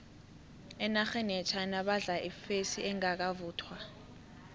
enarheni yechina badla ifesi engakavuthwa